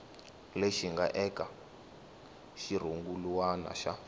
lexi nga eka xirungulwana xa